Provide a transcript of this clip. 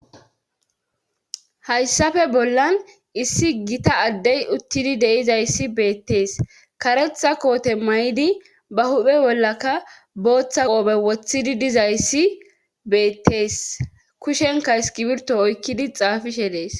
Hayssafe bollan issi gita addey uttidi deizayssi beettees karetha koote may'idi ba huphe bollaka booththa qoope woththidi dizayssi beettees kushenka iskibirto oykkidi xaafishe dees.